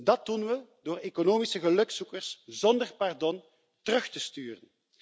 Dat doen we door economische gelukzoekers zonder pardon terug te sturen.